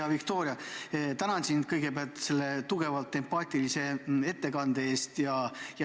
Hea Viktoria, tänan sind kõigepealt selle tugevalt empaatilise ettekande eest!